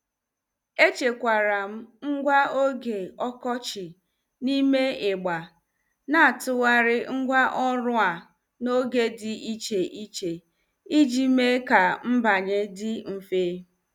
Echekwaram ngwa oge ọkọchị n'ime igbe na atụgharị ngwa ọrụ a n'oge dị iche iche, iji mee ka mbanye dị mfe.